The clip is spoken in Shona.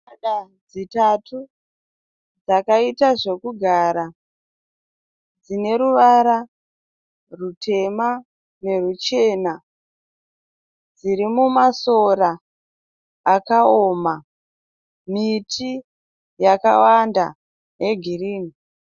Mbada dzitatu dzakaita zvekugara dzine ruvara rutema neruchena. Dziri mumasora akaoma, miti yakawanda yegirini.